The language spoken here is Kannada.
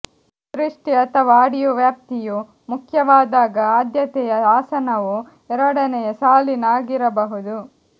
ದೃಷ್ಟಿ ಅಥವಾ ಆಡಿಯೋ ವ್ಯಾಪ್ತಿಯು ಮುಖ್ಯವಾದಾಗ ಆದ್ಯತೆಯ ಆಸನವು ಎರಡನೆಯ ಸಾಲಿನ ಆಗಿರಬಹುದು